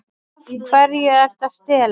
Af hverju ertu að stela?